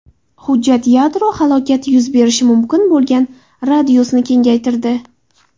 Hujjat yadro halokati yuz berishi mumkin bo‘lgan radiusni kengaytirdi.